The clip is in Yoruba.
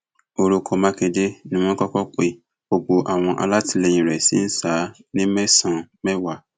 orúkọ mákindé ni wọn kọkọ pe gbogbo àwọn alátìlẹyìn rẹ ṣì ń ṣá a ní mẹsànán mẹwàá